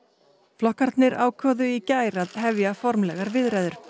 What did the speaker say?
flokkarnir ákváðu í gær að hefja formlegar viðræður